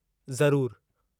ज़रूरु।